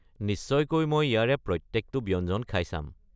নিশ্চয়কৈ মই ইয়াৰে প্ৰত্যেকটো ব্যঞ্জন খাই চাম।